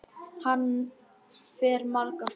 Hann fer margar ferðir.